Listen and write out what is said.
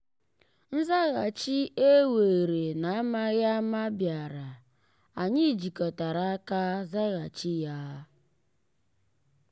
nzàghàchì e weere n’amaghị ama bịàrà anyị jikọtara aka zàghàchì ya.